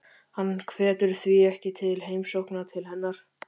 Hann hvetur því ekki til heimsókna til hennar.